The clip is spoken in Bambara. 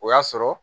O y'a sɔrɔ